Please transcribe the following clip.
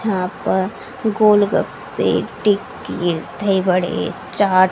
यहां प गोलगप्पे टिक्की दही बड़े चाट--